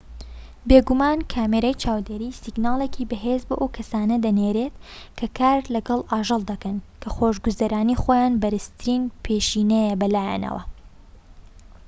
بێگومان کامیرای چاودێری سیگناڵێکی بەهێز بۆ ئەو کەسانە دەنێرێت کە کار لەگەڵ ئاژەڵ دەکەن کە خۆشگوزەرانی خۆیان بەرزترین پێشینەیە بەلایانەوە